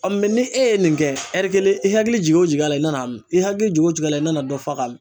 ni e ye nin kɛ kelen i hakili jigi o jigi a la i nana min i hakili jogo jigi la i nana dɔ faga ka min.